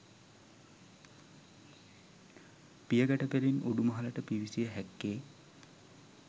පියගැට පෙළින් උඩුමහලට පිවිසිය හැක්කේ